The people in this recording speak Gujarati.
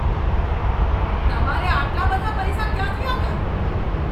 તમારે આટલા બધા પૈસા ક્યાંથી આવ્યા?